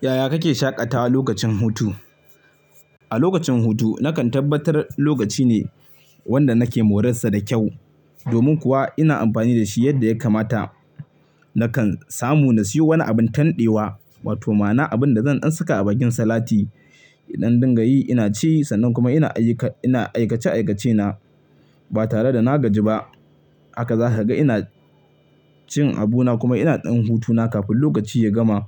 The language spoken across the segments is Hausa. Yaya kake shaƙata lokacin hutu? A lokacin hutu nakan tabbatar lokaci ne wanda nake morar sa da kyau. Domin kuwa ina amfani da shi yadda ya kamata. Nakan samu na siyo wani abin tanɗewa wato ma'ana abin da zan ɗan saka a bakin salati idan dinga yi ina ci sannan kuma ina aikace-aikacena ba tare da na gaji ba. Haka za ka ga ina cin abuna kuma ina ɗan hutuna kafin lokaci ya gama.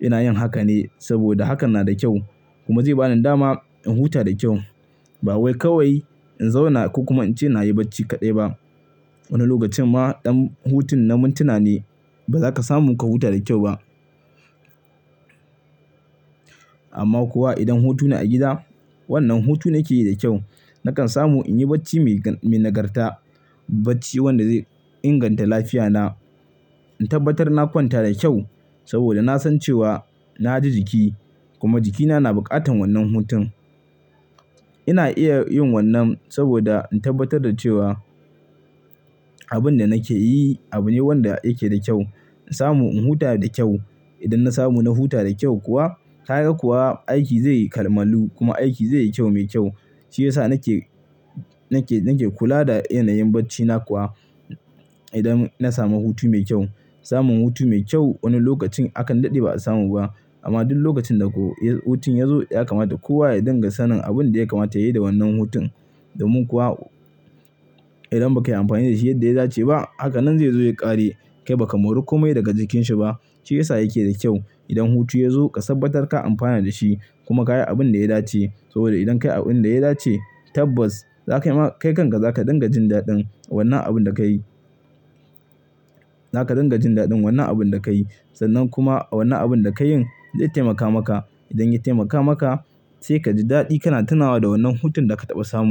Ina yin haka ne saboda hakan na da kyau kuma zai ba ni dama in huta da kyau. Ba wai kawai in zauna ko kuma in ce na yi bacci kaɗai ba. Wani lokacin ma ɗan hutun na mintuna ne ba za ka samu ka huta da kyau ba. Amma kuwa idan hutu na a gida, wannan hutu nake yi da kyau. Nakan samu in yi bacci mai nagarta, bacci wanda zai inganta lafiyana. In tabbatar na kwanta da kyau saboda na san cewa na ji jiki kuma jikina na bukatan wannan hutun. Ina iya yin wannan saboda in tabbatar da cewa abin da nake yi abu ne wanda yake da kyau. In samu in huta da kyau. Idan na samu na huta da kyau kuwa kaga kuwa aiki zai kamalu kuma aiki zai yi kyau mai kyau. Shi yasa nake, nake kula da yanayin bacina kuwa idan na samu hutu mai kyau. Samun hutu mai kyau wani lokacin akan daɗe ba a samu ba. Amma duk lokacin da ko hutun ya zo ya kamata kowa ya dinga sanin abin da ya kamata yayi da wannan hutun. Domin kuwa idan ba kai amfani da shi yadda ya dace ba, haka nan zai zo ya ƙare kai ba ka mori komai daga jikinsa ba. Shi yasa yake da kyau idan hutu ya zo ka tabbatar ka amfana da shi kuma ka yi abin da ya dace. Saboda idan ka yi abin da ya dace tabbas kai kanka za ka dinga jin daɗin wannan abin da ka yi. Za ka dinga jin daɗin wannan abin da ka yi sannan kuma wannan abin da ka yin zai taimaka maka. Idan ya taimaka maka sai ka ji daɗi kana tunawa da wannan hutun da ka taɓa samu.